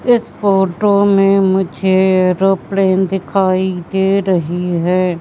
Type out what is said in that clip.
इस फोटो में मुझे एरोप्लेन दिखाई दे रही है।